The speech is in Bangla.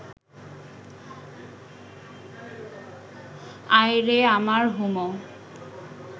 আয় রে আমার হুমো